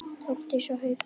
Þórdís og Haukur.